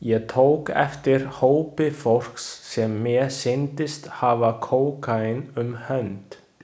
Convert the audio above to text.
Ég tók eftir hópi fólks sem mér sýndist hafa kókaín um hönd.